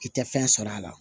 I tɛ fɛn sɔrɔ a la